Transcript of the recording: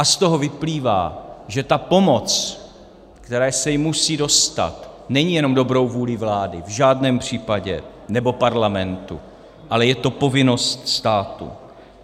A z toho vyplývá, že ta pomoc, které se jim musí dostat, není jenom dobrou vůlí vlády, v žádném případě, nebo Parlamentu, ale je to povinnost státu.